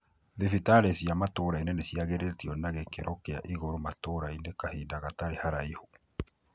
Dhibitarĩ cia matũrainĩ nĩ cĩagĩrĩtĩo na gĩkiro kia igũru matũrainĩ kahinda gatarĩ haraihu.